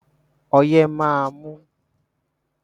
Ọyẹ́ máa mú ní oṣù kejìlá.